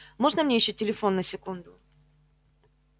можно мне ещё телефон на секунду